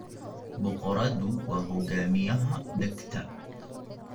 Boqoradu waa hogaamiyaha dhegta.